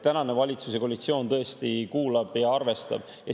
Tänane valitsuskoalitsioon tõesti kuulab ja arvestab.